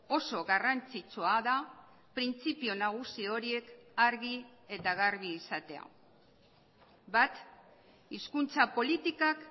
oso garrantzitsua da printzipio nagusi horiek argi eta garbi izatea bat hizkuntza politikak